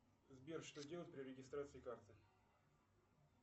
сбер что делать при регистрации карты